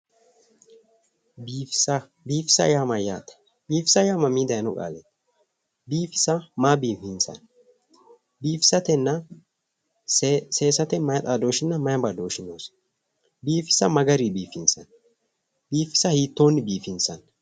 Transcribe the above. Biifisa biifisa yaa mayyaate? biifisa yaa mamii daayiino qaaleeti? biifisa maa biifinsayi? biifisatenna seesate mayi xaadooshshi mayi badooshshi noosi? biifisa ma garinni biifinsayi? biifisa hiittoonni biifinsayi?